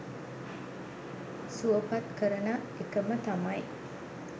සුවපත් කරන එකම තමයි.